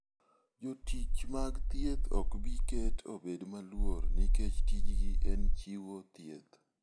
Jotich mag thieth ok bi ket obed maluor nikech tijgi en chiwo thieth.